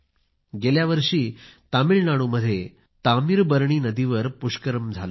गेल्यावर्षी तामिळनाडूमध्ये नदीवर पुष्करम झाले होते